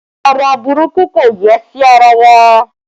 Ọrọ burúkú kò yẹ sí ara wa